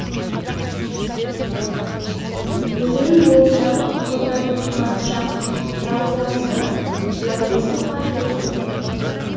өзен бойындағы ауылдардың күнбатыс жағындағысы байбосын қажының ауылы